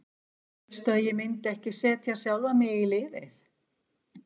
Hélstu að ég myndi ekki setja sjálfan mig í liðið?